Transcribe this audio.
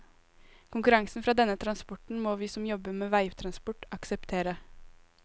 Konkurransen fra denne transporten må vi som jobber med veitransport, akseptere.